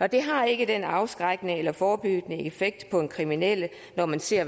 og det har ikke den afskrækkende eller forebyggende effekt på en kriminel når man ser